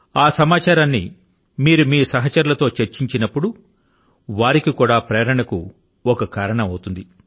ఆ సమాచారాన్ని మీరు మీ సహచరుల తో చర్చించినప్పుడు అది వారికి కూడాను ప్రేరణ లభించేందుకు ఒక కారణం అవుతుంది